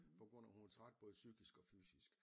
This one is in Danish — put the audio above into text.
På grund af hun var træt både psykisk og fysisk